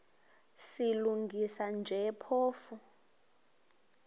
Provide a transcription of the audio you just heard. silungisa nje phofu